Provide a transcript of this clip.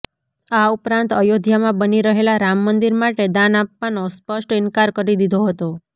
આ ઉપરાંત અયોધ્યામાં બની રહેલા રામમંદિર માટે દાન આપવાનો સ્પષ્ટ ઈન્કાર કરી દીધો હતો